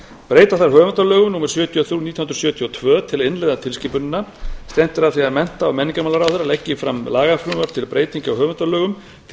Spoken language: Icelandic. breyta þarf höfundalögum númer sjötíu og þrjú nítján hundruð sjötíu og tvö til að innleiða tilskipunina stefnt er að því að mennta og menningarmálaráðherra leggi fram lagafrumvarp til breytinga á höfundalögum nái